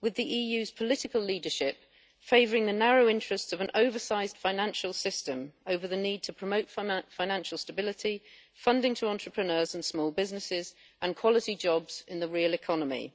with the EU's political leadership favouring the narrow interests of an oversized financial system over the need to promote financial stability, funding to entrepreneurs and small businesses and quality jobs in the real economy.